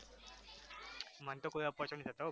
મન તો કોઈ અપચો નહિ થતો હો